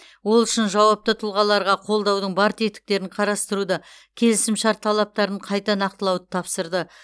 ол үшін жауапты тұлғаларға қолдаудың бар тетіктерін қарастыруды келісімшарт талаптарын қайта нақтылауды тапсырды